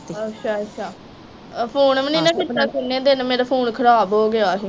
ਅੱਛਾ ਅੱਛਾ ਉਹ ਫੋਨ ਵੀ ਨਹੀਂ ਨਾ ਕੀਤਾ ਕਿਨ੍ਹੇ ਦਿਨ ਮੇਰਾ ਫੋਨ ਖਰਾਬ ਹੋਗਿਆ ਹੀ।